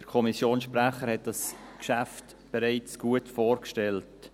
Der Kommissionssprecher hat das Geschäft bereits gut vorgestellt.